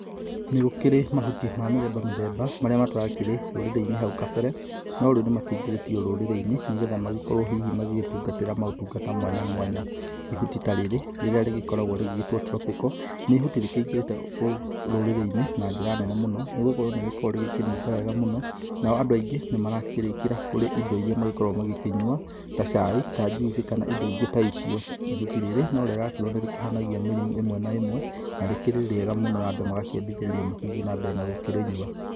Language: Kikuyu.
Nĩgũkĩrĩ mahuti ma mĩthemba mĩthemba, marĩa matarakĩrĩ rũrĩrĩ-inĩ hau kabere. No rĩu nĩmakĩingĩrĩtwo rũrĩrĩ-inĩ, nĩgetha magĩkorwo hihi magĩtungatĩra maũtungata mwanya mwanya. Ihũti ta rĩrĩ, rĩrĩa rĩgĩkoragwo rĩgĩtwo tropical, nĩ ihutĩ rĩkĩingĩrĩte rũrĩrĩ-inĩ na njĩra nene mũno. Nĩgũkorwo nĩrĩkoragwo rĩgĩkĩnunga wega mũno, nao andũ aingĩ nĩmarakĩrĩkĩra kũrĩ indo iria magĩkoragwo magĩkĩnyua, ta cai, ta njuici, kana indo ingĩ ta icio. Ihuti rĩrĩ, no rĩrakĩrwo nĩrĩkĩhonagia mĩrimũ ĩmwe na ĩmwe, na rĩkĩri rĩega mũno, na andũ magakĩendithĩrĩrio magĩthiĩ na mbere na gũkĩrĩnyua.